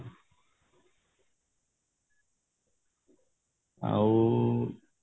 ଆଉ